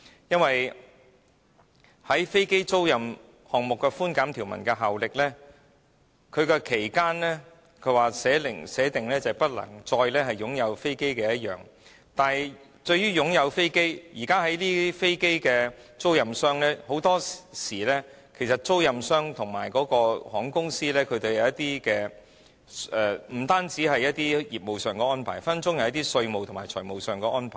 因為在飛機租賃項目的寬減條文效力方面，訂明的期間是直至不能再擁有飛機，但是就擁有飛機的定義而言，現時飛機租賃商與航空公司除業務安排外，很多時可能也會有一些稅務和財務安排。